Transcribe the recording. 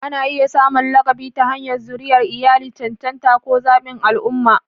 Ana iya samun lakabi ta hanyar zuriyar iyali, cancanta, ko zaɓin al'umma.